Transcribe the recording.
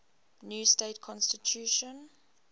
new state constitution